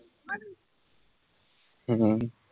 হম হম